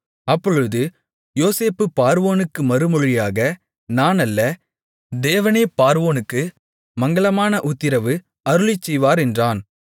அப்பொழுது யோசேப்பு பார்வோனுக்கு மறுமொழியாக நான் அல்ல தேவனே பார்வோனுக்கு மங்களமான உத்திரவு அருளிச்செய்வார் என்றான்